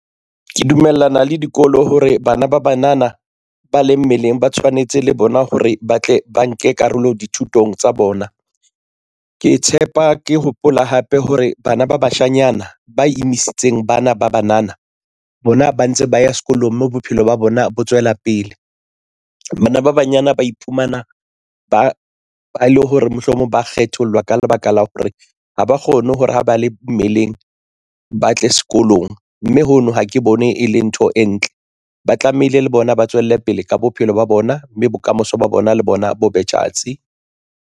Ke dumellana le dikolo hore bana ba banana ba leng mmeleng ba tshwanetse le bona hore ba tle ba nke karolo dithutong tsa bona. Ke tshepa ke hopola hape hore bana ba bashanyana ba emisitseng bana ba banana, bona ba ntse ba ya sekolong mme bophelo ba bona bo tswela pele. Bana ba banyana ba iphumana ba le hore mohlomong ba kgethollwa ka lebaka la hore ha ba kgone hore ha ba le mmeleng, ba tle sekolong mme hono ha ke bone e le ntho e ntle. Ba tlamehile le bona ba tswelle pele ka bophelo ba bona, mme bokamoso ba bona le bona bo be tjhatsi.